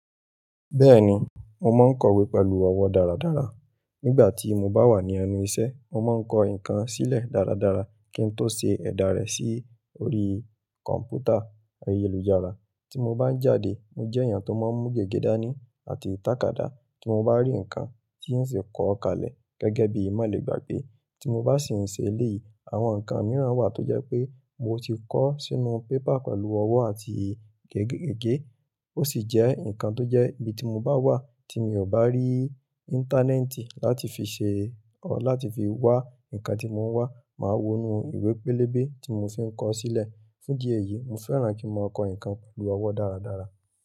Bẹ́ẹ̀ni, mo máa ń kọ̀wé pẹ̀lú ọwọ́ dáradára. Nígbà tí mo bá wà ní ẹnu ìṣẹ́, mo má ń kọ nǹkan sílẹ̀ dáradára kí n tó ṣe ẹ̀dá rẹ̀ sí orí kọ̀m̀pútà ayélujára. Tí mo bá ń jáde, mo jẹ́ èèyàn tó máa ń mú gègé dání àti tàkádá. Tí mo bá rí nǹkan tí ó ṣe é kọ̀ kalẹ̀ gẹ́gẹ́ bí i mọ̀lẹ́gbàgbé, tí mo bá sì ń ṣe eléyìí, àwọn nǹkan mìíràn wà tó jẹ́ pé mo ti kọ sínú pépà pẹ̀lú ọwọ́ àti gègé gègé. Ó sì jẹ́ nǹkan tó jẹ́ bí ti mo bá wà tí mi ò bá rí íńtánẹ́ẹ̀tì láti fi ṣe ọ, láti fi wá nǹkan tí mo ń wá, màá wọnú ìwé pélébé tí mo fi ń kọ sílẹ̀. Fún idi eyìí, mo fẹ́ràn kí n máa kọ nǹkan pẹ̀lú ọwọ́ dáradára.